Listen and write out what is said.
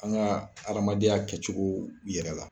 An ka aramadenya kɛcogo yɛrɛ la.